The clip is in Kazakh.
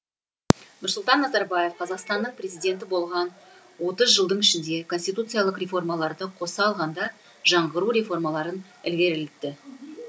нұрсұлтан назарбаев қазақстанның президенті болған отыз жылдың ішінде конституциялық реформаларды қоса алғанда жаңғыру реформаларын ілгерілетті